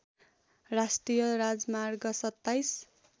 राष्ट्रिय राजमार्ग २७